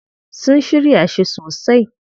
Sun shirya shi sosai.